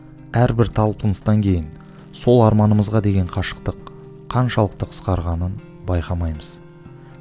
әрбір талпыныстан кейін сол арманымызға деген қашықтық қаншалықты қысқарғанын байқамаймыз